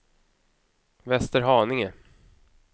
Västerhaninge